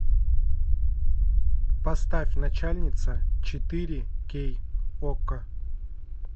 поставь начальница четыре кей окко